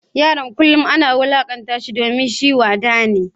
Yaron kullum ana wulakanta shi domin shi wada ne.